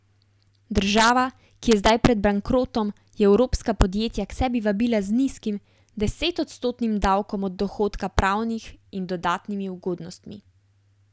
Država, ki je zdaj pred bankrotom, je evropska podjetja k sebi vabila z nizkim, desetodstotnim davkom od dohodka pravnih in dodatnimi ugodnostmi.